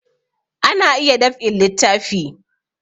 Ana iya dab'in littafi